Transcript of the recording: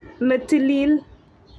ne tilil.